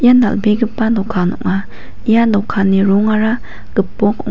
dal·begipa dokan ong·a ia dokanni rongara gipok ong--